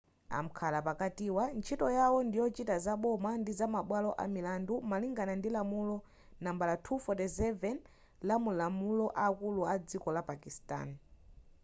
amkhala pakatiwa ntchito yawo ndiyochita zaboma ndi zamabwalo amilandu malingana ndi lamulo nambala 247 lamumalamulo akulu adziko la pakistani